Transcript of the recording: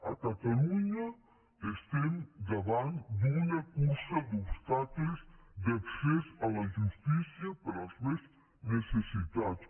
a catalunya estem davant d’una cursa d’obstacles d’accés a la justícia per als més necessitats